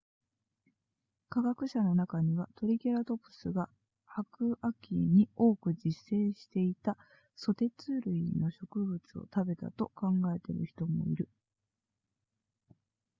科学者の中にはトリケラトプスが白亜紀に多く自生していたソテツ類の植物を食べたと考えている人もいる